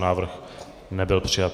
Návrh nebyl přijat.